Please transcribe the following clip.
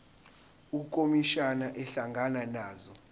ukhomishana ehlangana nazo